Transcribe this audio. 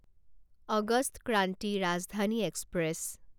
August Kranti Rajdhani express